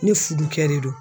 Ne fudukɛ de do.